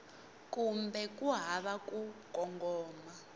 kumbe ku hava ku kongoma